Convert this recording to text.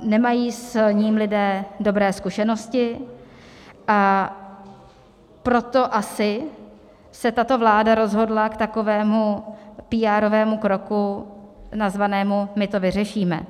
nemají s ním lidé dobré zkušenosti, a proto asi se tato vláda rozhodla k takovému píárovému kroku nazvanému my to vyřešíme.